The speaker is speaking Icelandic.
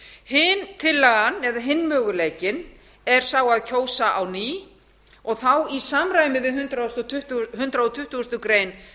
hin tillagan eða hinn möguleikinn er sá að kjósa á ný og þá í samræmi við hundrað tuttugasta grein